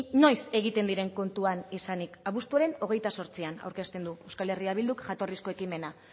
noiz egiten diren kontuan izanik abuztuaren hogeita zortzian aurkezten du euskal herria bilduk jatorrizko ekimena